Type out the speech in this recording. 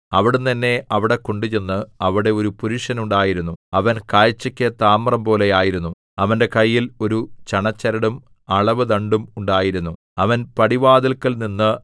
അവിടുന്ന് എന്നെ അവിടെ കൊണ്ടുചെന്നു അവിടെ ഒരു പുരുഷൻ ഉണ്ടായിരുന്നു അവൻ കാഴ്ചക്ക് താമ്രംപോലെ ആയിരുന്നു അവന്റെ കയ്യിൽ ഒരു ചണച്ചരടും അളവുദണ്ഡും ഉണ്ടായിരുന്നു അവൻ പടിവാതില്ക്കൽ നിന്നു